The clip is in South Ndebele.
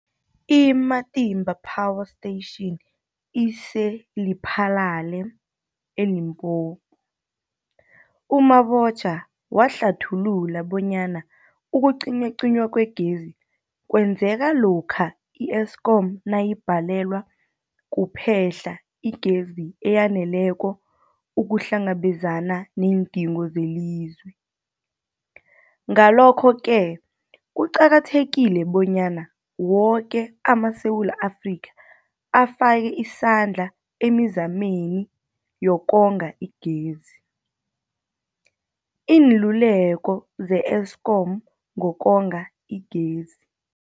I-Matimba Power Station ise-Lephalale, eLimpopo. U-Mabotja wahlathulula bonyana ukucinywacinywa kwegezi kwenzeka lokha i-Eskom nayibhalelwa kuphe-hla igezi eyaneleko ukuhlangabezana neendingo zelizwe. Ngalokho-ke kuqakathekile bonyana woke amaSewula Afrika afake isandla emizameni yokonga igezi. Iinluleko ze-Eskom ngokonga igezi.